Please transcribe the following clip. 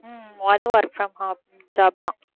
உம் அது work from home job தான்